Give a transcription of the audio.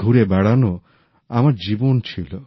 ঘুরে বেড়ানোই আমার জীবন ছিল